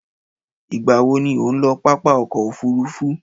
Ìgbà wo ni ò ń lọ pápá ọkọ̀-òfurufú?